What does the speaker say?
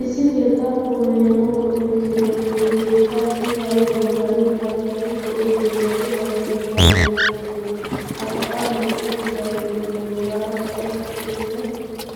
Issi keettaa pulayano go'ettiyoobatinne keettaassi kariyaa bollan kaqqidi go'ettiyoobati hagaa keettan de'oosona. ha sa'an hiixettidaageetinne bollaara kaqqetti uttida